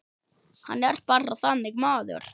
Hann er bara þannig maður.